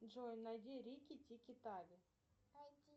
джой найди рики тики тави